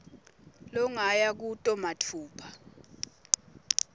longaya kuto matfupha